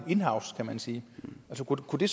inhouse kan man sige så kunne det